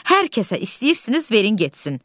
Hər kəsə istəyirsiniz verin getsin.